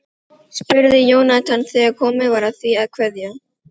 spurði Jónatan þegar komið var að því að kveðja.